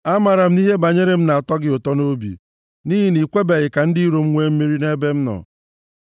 Amaara m na ihe banyere m na-atọ gị ụtọ nʼobi, nʼihi na i kwebeghị ka ndị iro m nwee mmeri nʼebe m nọ.